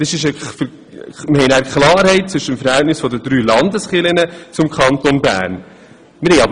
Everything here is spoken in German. Wir haben damit Klarheit, was das Verhältnis zwischen den drei Landeskirchen und dem Kanton Bern betrifft.